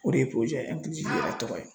O de ye tɔgɔ ye.